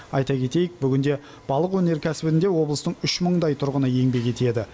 айта кетейік бүгінде балық өнеркәсібінде облыстың үш мыңдай тұрғыны еңбек етеді